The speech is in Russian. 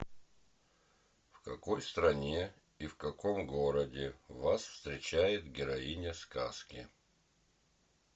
в какой стране и в каком городе вас встречает героиня сказки